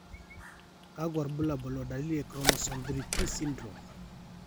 Kakwa irbulabol o dalili e Chromosome 3p syndrome?